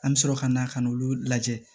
An bɛ sɔrɔ ka na ka n'olu lajɛ